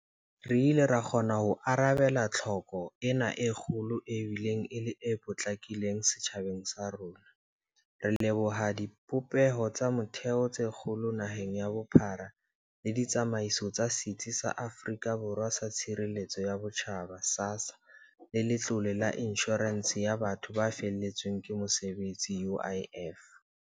Re ile ra kgona ho arabela tlhoko ena e kgolo e bileng e le e potlakileng setjhabeng sa rona, re leboha dibopeho tsa motheo tse kgolo naheng ka bophara le ditsamaiso tsa Setsi sa Afrika Borwa sa Tshireletso ya Botjhaba SASSA le Letlole la Inshorense ya Batho ba Feletsweng ke Mosebetsi UIF.